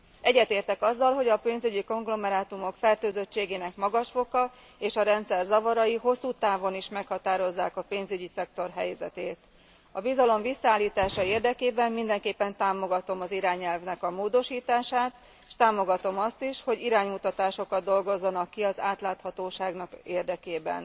Egyetértek azzal, hogy a pénzügyi konglomerátumok fertőzöttségének magas foka és a rendszer zavarai hosszú távon is meghatározzák a pénzügyi szektor helyzetét. A bizalom visszaállítása érdekében mindenképpen támogatom az irányelvnek a módosítását, s támogatom azt is, hogy iránymutatásokat dolgozzanak ki az átláthatóság érdekében.